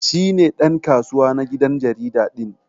Shi ne dan kasuwa na gidan jarida din.